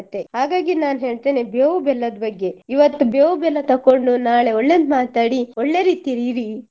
ಹಾಗಾಗಿ ನಾನ್ ಹೇಳ್ತೇನೆ ಬೇವು ಬೆಲ್ಲದ್ ಬಗ್ಗೆ ಇವತ್ತು ಬೇವು ಬೆಲ್ಲ ತಕೊಂಡು ನಾಳೆ ಒಳ್ಳೇದ್ ಮಾತಾಡಿ ಒಳ್ಳೆ ರೀತಿಲಿ ಇರಿ